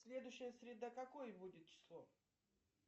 следующая среда какое будет число